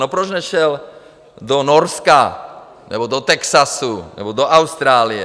No proč nešel do Norska nebo do Texasu nebo do Austrálie?